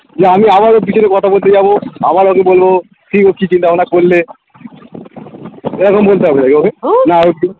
যে আমি আবার ওর পিছনে কথা বলতে যাবো আবার ওকে বলবো কি গো কি কি চিন্তাভাবনা করলে এরকম বলতে হবে না কি ওকে না হয়তো